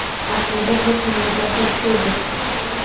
Aslida biz malaka oshirishda edik.